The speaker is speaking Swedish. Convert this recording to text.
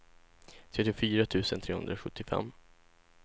trettiofyra tusen trehundrasjuttiofem